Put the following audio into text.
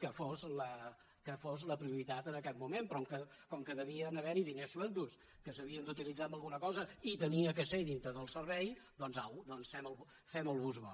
que fos la prioritat en aquest moment però com que devien haver hi diners solts que s’havien d’utilitzar en alguna cosa i havia de ser dintre del servei doncs au fem el bus vao